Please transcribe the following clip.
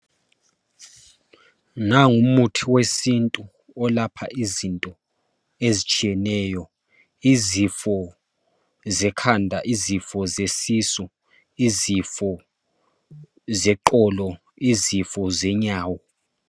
Nangumuthi wesintu owelapha izinto ezitshiyeneyo izifo zekhanda izifo zesisu izifo zeqolo izifo zenyawo